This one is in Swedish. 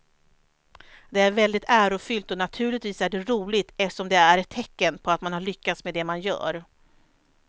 Det är väldigt ärofyllt och naturligtvis är det roligt eftersom det är ett tecken på att man har lyckats med det man gör.